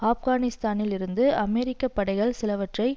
ஆப்கானிஸ்தானில் இருந்து அமெரிக்க படைகள் சிலவற்றை